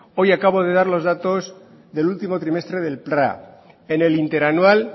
hoy acabo de dar los datos del último trimestre del pra en el interanual